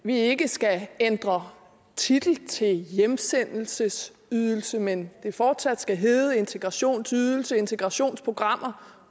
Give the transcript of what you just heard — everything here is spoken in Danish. vi ikke skal ændre titlen til hjemsendelsesydelse men at det fortsat skal hedde integrationsydelse integrationsprogrammer